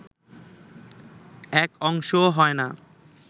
এক অংশও হয় না